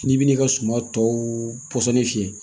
N'i bin'i ka suma tɔ pɔsɔni fiyɛ